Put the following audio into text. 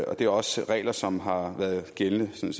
og det er også regler som har været gældende